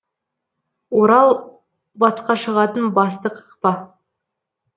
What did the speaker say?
орал батысқа шығатын басты қақпа